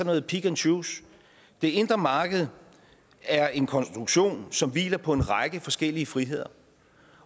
noget pick and choose det indre marked er en konstruktion som hviler på en række forskellige friheder